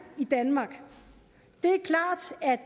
i danmark